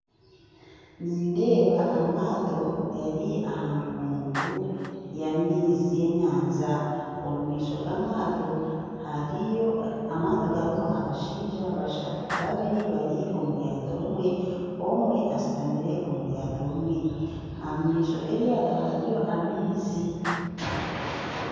Nindeeba amato gari aha nkungu y'enyanja omumaisho g'amato hariyo amato garimu abashaija bashatu babiri bari omuryato rimwe omwe asitamire omuryato rimwe aha maishoo g'eryato hariyo amaizi